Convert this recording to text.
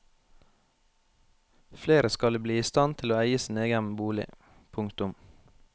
Flere skal bli i stand til å eie sin egen bolig. punktum